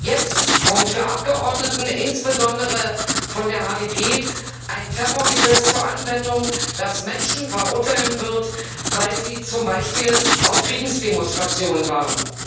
Jetzt kommt für Abgeordnete insbesondere von der HDP ein Terrorgesetz zur Anwendung, das Menschen verurteilen wird, weil sie zum Beispiel auf Friedensdemonstrationen waren.